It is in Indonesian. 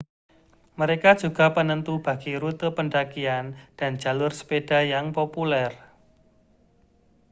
mereka juga penentu bagi rute pendakian dan jalur sepeda yang populer